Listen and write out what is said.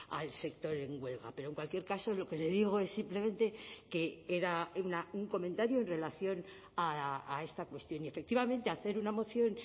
al sector en huelga pero en cualquier caso lo que le digo es simplemente que era un comentario en relación a esta cuestión y efectivamente hacer una moción